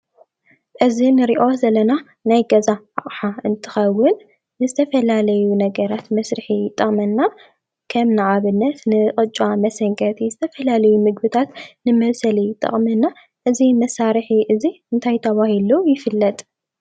እዙይ እንርእዮ ዘለና ናይ ገዛ አቕሓ እንትኸውን ንዝተፈላለዩ ነገራት መስሪሒ ይጠቅመና። ከም ንኣብነት ንቅጫ መሰንከቲ ዝተፈላለዩ ምግብታት መብሰሊ ይጠቅመና። እዙይ መሳርሒ እዙይ እንታይ ተባህሉ ይፍለጥ?